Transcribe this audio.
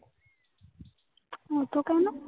অতো কেন?